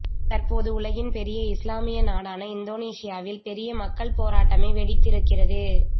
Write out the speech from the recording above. தற்போது உலகின் பெரிய இஸ்லாமிய நாடான இந்தோனேசியாவில் பெரிய மக்கள் போராட்டமே வெடித்து இருக்கிறது